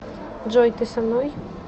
джой ты со мной